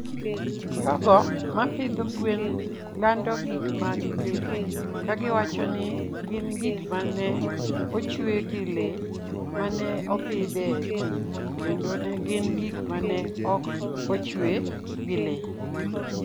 jogo ma pidho gwen lando gik ma gipidho ka giwacho ni gin gik ma ne ochwe gi le ma ne opidh e thim kendo ne gin gik ma ne ok ochwe gi le.